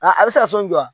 A a bɛ se ka sɔn